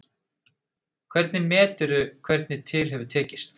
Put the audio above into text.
Hvernig meturðu hvernig til hefur tekist?